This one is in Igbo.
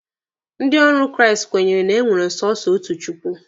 Ndị ọrụ Kraịst kwenyere na e nwere sọsọ otu Chukwu.